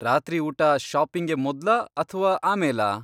ರಾತ್ರಿ ಊಟ ಷಾಪಿಂಗ್ಗೆ ಮೊದ್ಲಾ ಅಥ್ವಾ ಆಮೇಲಾ?